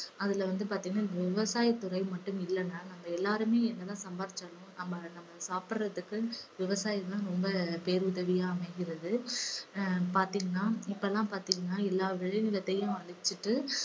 அதுல வந்து பாத்தீங்கன்னா விவசாயத்துறை மட்டும் இல்லன்னா நம்ம எல்லாருமே என்ன தான் சம்பாதித்தாலும் நம்ம நம்ம சாப்பிடறதுக்கு விவசாயம் தான் ரொம்ப பேருதவியா அமைகிறது. அஹ் பார்த்தீங்கன்னா இப்பலாம் பார்த்தீங்கன்னா எல்லா விளை நிலத்தையும் அழிச்சிட்டு